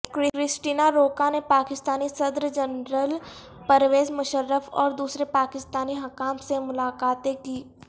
Christina Rocca نے پاکستانی صدر general Pervez Musharraf اور دوسرے پاکستانی حکام سے ملاقاتیں کیں